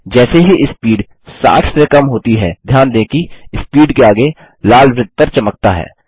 जैसे ही स्पीड 60 से कम होती है ध्यान दें कि स्पीड के आगे लाल वृत्त पर चमकता है